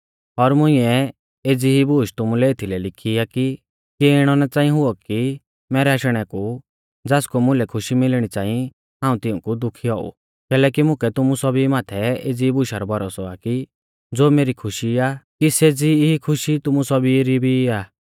और मुंइऐ एज़ी ई बूश तुमुलै एथलै लिखी आ कि किऐ इणौ ना च़ांई हुऔ कि मैरै आशणै कु ज़ासकु मुलै खुशी मिलणी च़ांई हाऊं तिऊंकु दुखी औऊ कैलैकि मुकै तुमु सौभी माथै एज़ी बुशा रौ भरोसौ आ कि ज़ो मेरी खुशी आ कि सेज़ी ई खुशी तुमु सौभी री भी आ